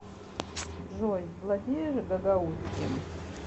джой владеешь гагаузским